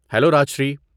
Hello Rajshri.